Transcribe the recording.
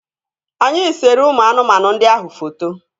Anyị sere ụmụ anụmanụ ndị ahụ foto